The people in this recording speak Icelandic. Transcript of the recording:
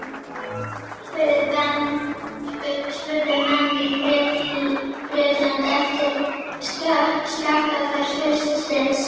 spurðu menn í Bretlandi eftir skakkaföll haustsins.